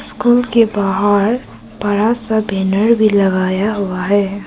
School के बाहर बड़ा सा बैनर भी लगाया हुआ है।